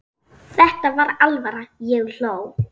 Þetta var alvara, ég hló.